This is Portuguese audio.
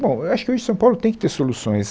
Bom, eu acho que hoje São Paulo tem que ter soluções.